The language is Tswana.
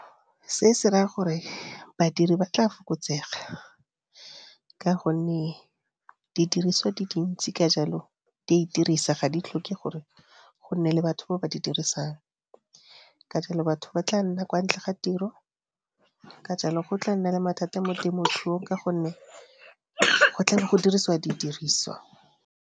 Se se raya gore badiri ba tla fokotsega, ka gonne didiriswa di dintsi ka jalo di a itirisa ga di tlhoke gore go nne le batho ba ba di dirisang. Ka jalo batho ba tla nna kwa ntle ga tiro, ka jalo go tla nna le mathata mo temothuong ka gonne go tla bo go dirisiwa didirisiwa.